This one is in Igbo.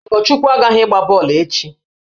Ogochukwu aghaghị ịgba bọọlụ echi!